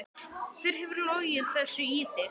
Hver hefur logið þessu í þig?